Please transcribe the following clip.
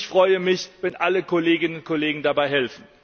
Ich freue mich, wenn alle Kolleginnen und Kollegen dabei helfen.